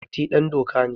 Mati dandoka ne.